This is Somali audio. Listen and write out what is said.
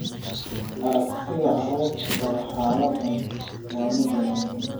Aragtida carruurta qaba xaaladdan waa mid wanaagsan.